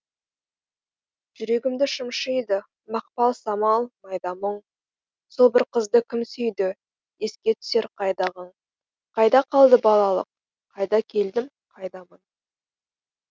жүрегімді шымшиды мақпал самал майда мұң сол бір қызды кім сүйді еске түсер қайдағың қайда қалды балалық қайда келдім қайдамын